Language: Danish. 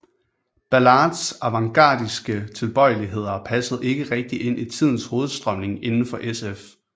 Ballards avantgardistiske tilbøjeligheder passede ikke rigtigt ind i tidens hovedstrømning inden for sf